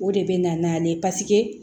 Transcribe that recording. O de bɛ na n'ale ye paseke